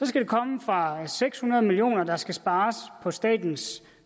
skal komme fra seks hundrede million kr der skal spares på statens